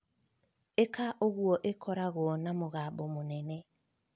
ĩka ũguo ĩkoragwo na mũgambo mũnene